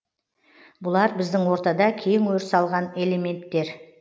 бұлар біздің ортада кең өріс алған элементтер